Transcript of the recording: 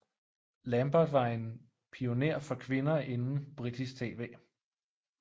Lambert var en pioner for kvinder inden britisk TV